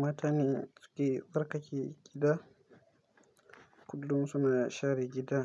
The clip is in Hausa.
Matane suke tsarkake gida, kullum suna share gida,